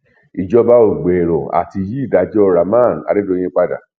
ìjọba ò gbèrò àti yí ìdájọ rahman adédọyìn padà